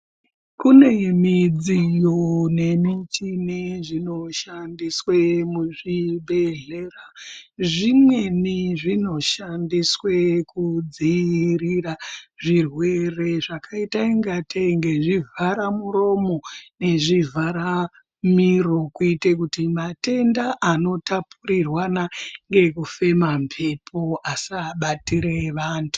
Kune midziyo nemichini zvinoshandiswe muzvibhedhlera. Zvimweni zvinoshandiswe kudziirira zvirwere zvakaita ingatei ngezvivharamuromo ngezvivharamiro kuitire kuti matenda anotapurirwana ngekufema mbepo asabatire vantu.